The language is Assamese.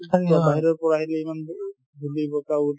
বাহিৰৰ পৰা আহিলে ধূলি বতাহত